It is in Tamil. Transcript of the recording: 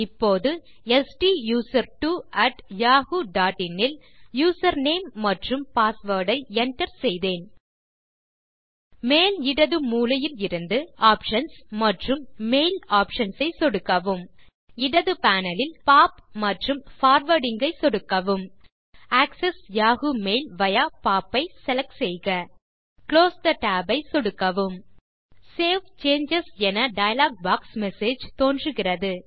இப்போது ஸ்டூசர்ட்வோ அட் yahooஇன் இல் யூசர் நேம் மற்றும் பாஸ்வேர்ட் ஐ enter செய்தேன் மேல் இடது மூலையில் இலிருந்து ஆப்ஷன்ஸ் மற்றும் மெயில் ஆப்ஷன்ஸ் ஐ சொடுக்கவும் இடது பேனல் இல்POP மற்றும் பார்வார்டிங் ஐ சொடுக்கவும் access Yahoo mail via POP ஐ செலக்ட் செய்க குளோஸ் தே tab ஐ சொடுக்கவும் சேவ் சேஞ்சஸ் என டயலாக் பாக்ஸ் மெசேஜ் தோன்றுகிறது